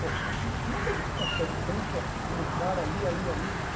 Pô, pai, mas como é que a gente consegue tanto a como o cara ali, ali, ali?